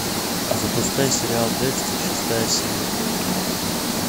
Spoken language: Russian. запускай сериал декстер шестая серия